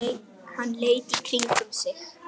Hann leit í kringum sig.